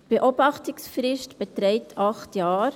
– Die Beobachtungsfrist beträgt acht Jahre.